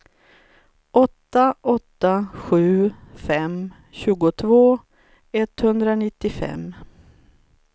åtta åtta sju fem tjugotvå etthundranittiofem